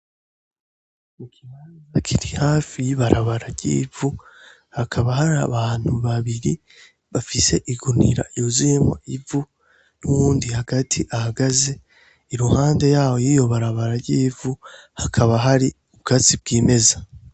Mukimaza kiri hafi y'ibarabara ryivu hakaba hari abantu babiri bafise igunira iruzuyemo ivu n'uwundi hagati ahagaze iruhande yawo yiyobarabara ryivu hakaba hari ubwazi bw'imeza.